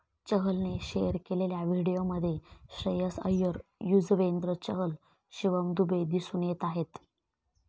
चहलने share केलेल्या व्हिडिओमध्ये श्रेयस अय्यर, युझवेंद्र चहल, शिवम दुबे दिसून येत आहेत.